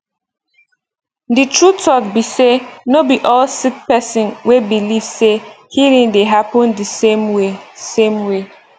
the true talk be say no be all sick person wey believe say healing dey happen the same way same way